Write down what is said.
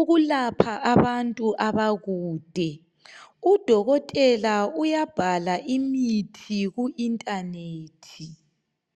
ukulapha abantu abakude. Udokotela uyabhala imithi ku internet.